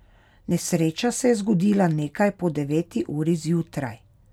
Nesreča se je zgodila nekaj po deveti uri zjutraj.